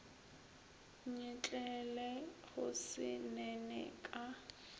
nyetlele go se nene ka